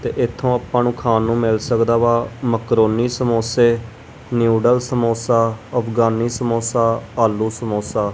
ਤੇ ਇਥੋਂ ਆਪਾਂ ਨੂੰ ਖਾਣ ਨੂੰ ਮਿਲ ਸਕਦਾ ਵਾ ਮਕਰੋਨੀ ਸਮੋਸੇ ਨਿਊਡਲ ਸਮੋਸਾ ਅਫਗਾਨੀ ਸਮੋਸਾ ਆਲੂ ਸਮੋਸਾ ।